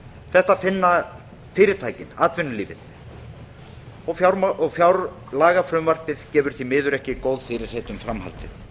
þetta finna fyrirtækin atvinnulífið og fjárlagafrumvarpið gefur því miður ekki góð fyrirheit um framhaldið